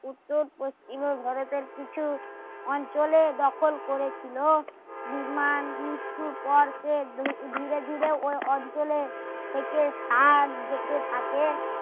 উত্তর পশ্চিমে ভারতের কিছু অঞ্চলে দখল করেছিল বিমান মৃত্যুর পর সে ধীরে ধীরে ওই অঞ্চলে থেকে জেঁকে থাকে